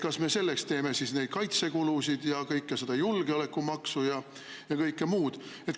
Kas me selleks teeme neid kaitsekulutusi ja julgeolekumaksu ja kõike muud?